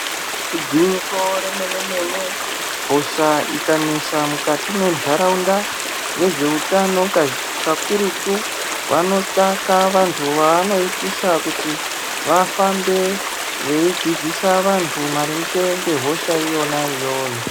Igwinyiso remene-mene, hosha ikanesa mukati mwentaraunda vezveutano kazhi kakurutu vanotsvaka vantu vaanoitisa ,kuti vafambe veidzidzisa vantu maringe ngehosha iyona iyoyo.